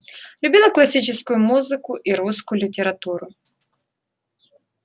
любила классическую музыку и русскую литературу